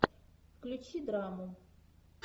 включи драму